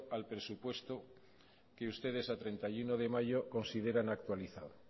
al presupuesto que ustedes a treinta y uno de mayo consideran actualizado